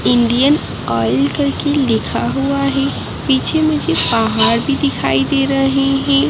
Indian Oil करके लिखा हुआ है पीछे मुझे आहार भी दिखाई दे रहे हैं।